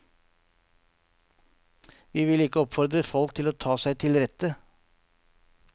Vi vil ikke oppfordre folk til å ta seg til rette.